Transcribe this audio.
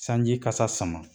Sanjikasa sama